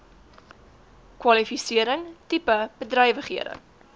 kwalifisering tipe bedrywighede